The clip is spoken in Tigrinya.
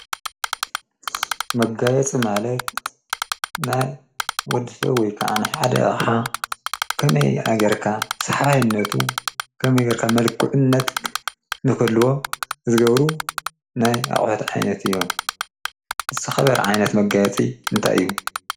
መጋየቲ ማለት ናይ ወድፈ ወይ ከዓንሕሓደ ሓ ከመይ ኣገርካ ስኅባይነቱ ኸመገርካ መልክዕነት ንኸልዎ እዝገብሩ ናይ ኣቝሕት ዓይነት እዮም። ንተኸበር ዓይነት መጋየፂ እንታይ እዩ?